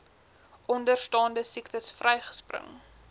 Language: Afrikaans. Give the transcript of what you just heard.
onderstaande siektes vryspring